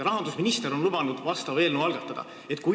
Rahandusminister on lubanud eelnõu algatada.